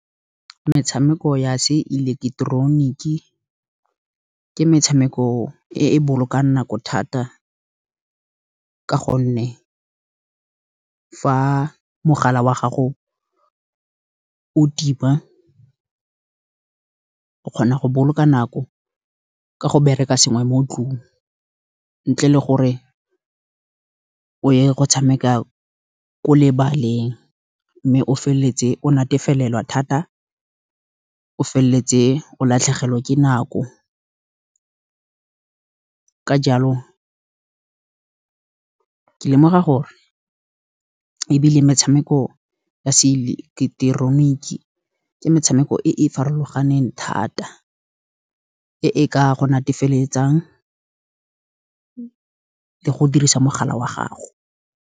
Metshameko ya seileketeroniki ke metshameko e e bolokang nako thata, ka gonne fa mogala wa gago o thiba ke kgona go boloka nako ka go bereka sengwe mo tlung. Ntle le gore o ye go tshameka ko lebaleng, mme o feleletse o natefelelwa thata. O feleletse o latlhegelwe ke nako, ka jalo ke lemoga gore ebile metshameko ya seileketoroniki, ke metshameko e e farologaneng thata. E e ka go natefeletsang ke go dirisa mogala wa gago.